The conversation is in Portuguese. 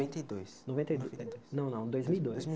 Noventa e dois noventa e dois não não dois mil e dois